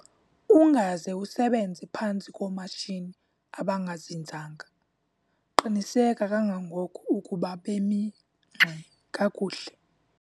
Ungaze usebenze phantsi koomatshini abangazinzanga - qiniseka kangangoko ukuba bemi ngxi kakuhle.